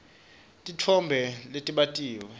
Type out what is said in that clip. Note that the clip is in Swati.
titfombe letibatiwe